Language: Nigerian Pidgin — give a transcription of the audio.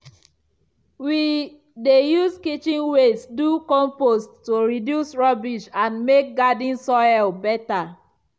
we dey use kitchen waste do compost to reduce rubbish and make garden soil better.